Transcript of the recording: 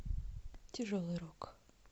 тяжелый рок